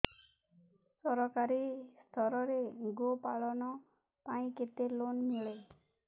ସରକାରୀ ସ୍ତରରେ ଗୋ ପାଳନ ପାଇଁ କେତେ ଲୋନ୍ ମିଳେ